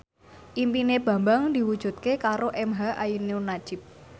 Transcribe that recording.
impine Bambang diwujudke karo emha ainun nadjib